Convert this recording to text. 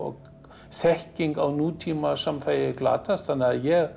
þekking á nútímasamfélagi glatast ég